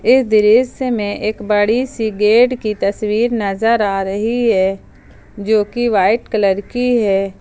इस दृश्य में एक बड़ी सी गेट की तस्वीर नजर आ रही है जोकि वाइट कलर की है।